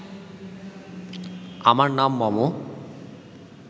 আমার নাম মম